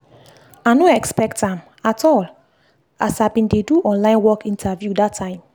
i no expect am at all as i been dey do online work interview that time.